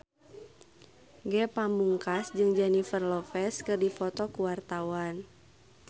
Ge Pamungkas jeung Jennifer Lopez keur dipoto ku wartawan